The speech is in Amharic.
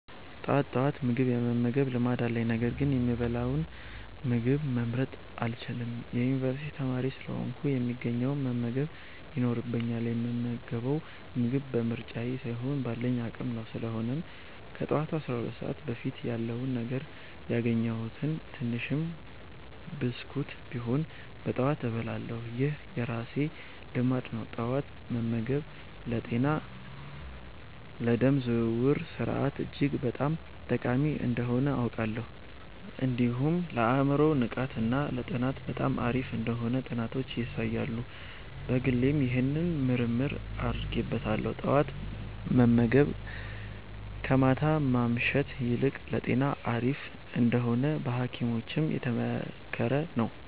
ጠዋት ጠዋት ምግብ የመመገብ ልማድ አለኝ፤ ነገር ግን የምበላውን ምግብ መምረጥ አልችልም። የዩኒቨርሲቲ ተማሪ ስለሆንኩ፣ የሚገኘውን መመገብ ይኖርብኛል፣ የምመገበው ምግብ በምርጫዬ ሳይሆን ባለኝ አቅም ነው። ስለሆነም ከጠዋቱ 12 ሰዓት በፊት ያለውን ነገር፣ ያገኘሁትን ትንሽም ብስኩት ቢሆንም በጠዋት እበላለሁ። ይህ የራሴ ልማድ ነው። ጠዋት መመገብ ለጤና፣ ለደም ዝውውር ስርዓት እጅግ በጣም ጠቃሚ እንደሆነ አውቃለሁ። እንዲሁም ለአእምሮ ንቃት እና ለጥናት በጣም አሪፍ እንደሆነ ጥናቶች ያሳያሉ። በግሌም ይህንን ምርምር አድርጌበታለሁ። ጠዋት መመገብ ከማታ ማምሸት ይልቅ ለጤና አሪፍ እንደሆነ በሀኪሞችም የተመከረ ነው።